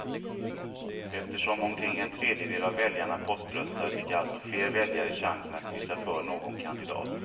Eftersom omkring en tredjedel av väljarna poströstar fick alltså fler väljare chansen att kryssa för någon kandidat.